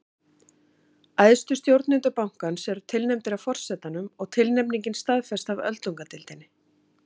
æðstu stjórnendur bankans eru tilnefndir af forsetanum og tilnefningin staðfest af öldungadeildinni